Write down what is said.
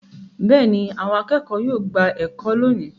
Bẹ́ẹ̀ ni, àwọn akẹ́kọ̀ọ́ yóò gba ẹ̀kọ́ lónìí.